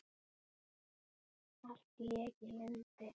Allt lék í lyndi.